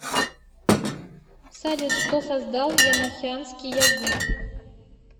салют кто создал енохианский язык